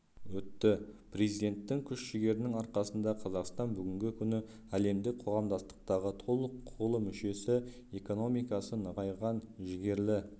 өтті президенттің күш-жігерінің арқасында қазақстан бүгінгі күні әлемдік қоғамдастықтағы толық құқылы мүшесі экономикасы нығайған жігерлі